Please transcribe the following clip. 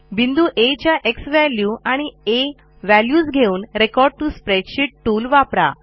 बिंदू आ च्या झ्वॅल्यू आणि आ व्हॅल्यूज घेउन रेकॉर्ड टीओ स्प्रेडशीट टूल वापरा